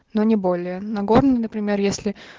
но не более нагорный например если